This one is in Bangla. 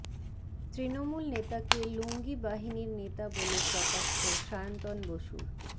তৃণমূল নেতাকে লুঙ্গি বাহিনীর নেতা বলে কটাক্ষ সায়ন্তন বসুর